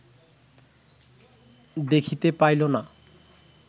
দেখিতে পাইল না